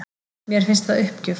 Mér finnst það uppgjöf